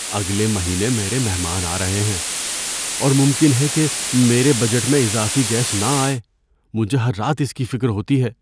اگلے مہینے میرے مہمان آ رہے ہیں، اور ممکن ہے کہ میرے بجٹ میں اضافی گیس نہ آئے۔ مجھے ہر رات اس کی فکر ہوتی ہے۔